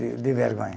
De de vergonha.